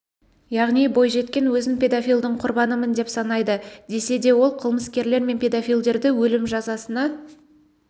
яғни бойжеткен өзін педофилдің құрбанымын деп санайды десе де ол қылмыскерлер мен педофилдерді өлім жазасына